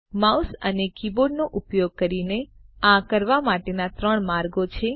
mouse અને કીબોર્ડનો ઉપયોગ કરીને આ કરવા માટેના ત્રણ માર્ગો છે